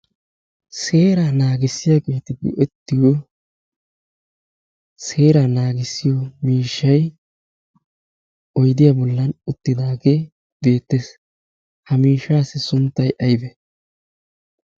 seeraa naagissiyageeti go''ettiyo seeraa naagissiyo miishshay oydiyaa bollan uttidaagee beettees ha miishaassi sunttay aybe?